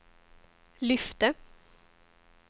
lyfte